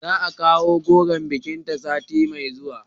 Za a kawo goron bikinta sati mai zuwa